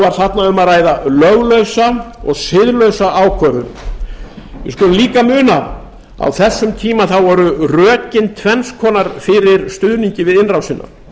þarna um að ræða löglausa og siðlausa ákvörðun við skulum líka muna að á þessum tíma voru rökin tvenns konar fyrir stuðningi við innrásina